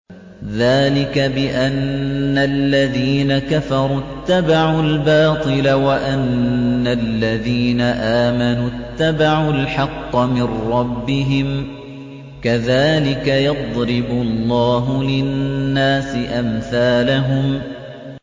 ذَٰلِكَ بِأَنَّ الَّذِينَ كَفَرُوا اتَّبَعُوا الْبَاطِلَ وَأَنَّ الَّذِينَ آمَنُوا اتَّبَعُوا الْحَقَّ مِن رَّبِّهِمْ ۚ كَذَٰلِكَ يَضْرِبُ اللَّهُ لِلنَّاسِ أَمْثَالَهُمْ